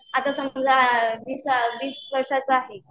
आता समजा वीस वीस वर्षाचा आहे.